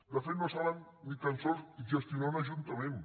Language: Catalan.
de fet no saben ni tan sols gestionar un ajuntament